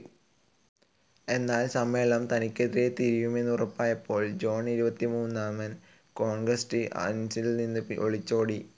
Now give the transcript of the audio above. എന്നാൽ സമ്മേളനം തനിക്കെതിരെ തിരിയുമെന്നുറപ്പായപ്പോൾ ജോൺ ഇരുപത്തിമൂന്നാമൻ കോൺസ്ററ്അൻസിൽ നിന്ന് ഒളിച്ചോടി.